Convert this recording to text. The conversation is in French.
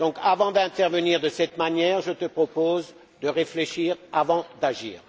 Avant d'intervenir de cette manière, je te propose de réfléchir avant d'agir.